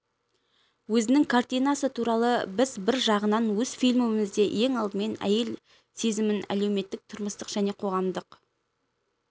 өзінің картинасы туралы біз бір жағынан өз фильмімізде ең алдымен әйел сезімін әлеуметтік тұрмыстық және қоғамдық